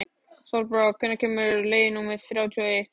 Sólbrá, hvenær kemur leið númer þrjátíu og eitt?